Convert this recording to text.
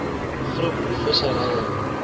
groep visserye